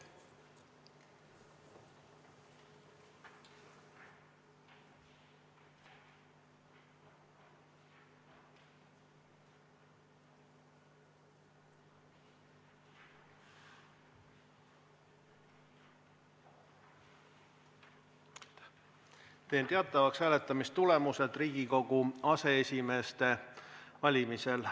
Teen teatavaks hääletamistulemused Riigikogu aseesimeeste valimisel.